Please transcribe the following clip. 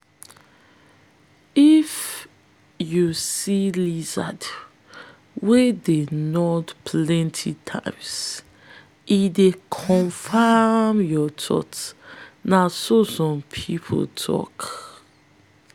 if you lizard wey dey nod plenty times e dey confirm your thoughts na so some people tok.